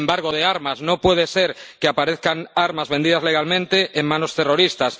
embargo de armas ―no puede ser que aparezcan armas vendidas legalmente en manos terroristas―